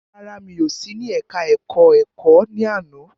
Rárá, mi ò sí ní ẹka ẹ̀kọ́ ẹ̀kọ́ ní àná.